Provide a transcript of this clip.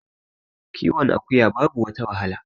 kiwon akuya babu wata wahala